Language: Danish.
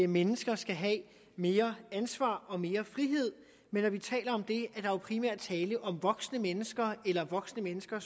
mennesker skal have mere ansvar og mere frihed men når vi taler om det er der jo primært tale om voksne mennesker eller voksne mennesker